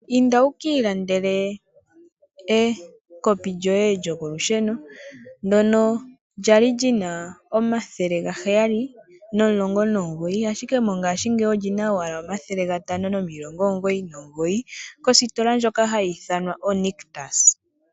Inda wuki ilandela ekopi lyoye lyokolusheno ndono kwali Nina oodola omathele gaheyali nomulongo nomugoyi ashike mongashingeyi olina owala omathele gatano nomilongo omugoyi nomugoyi positola ndjoka hayi ithanwa o Nictus.